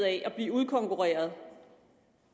af at blive udkonkurreret